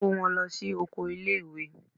Kó wọn lọ sí oko ilé ìwé.